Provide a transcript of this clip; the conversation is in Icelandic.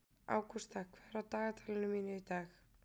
Ágústa, hvað er á dagatalinu mínu í dag?